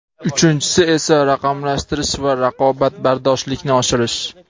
uchinchisi esa raqamlashtirish va raqobatbardoshlikni oshirish.